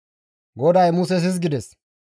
GODAY Muses hizgides,